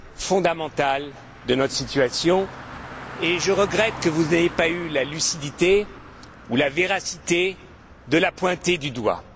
fondamentale de notre situation et je regrette que vous n'ayez pas eu la lucidité ou la véracité de la pointer du doigt.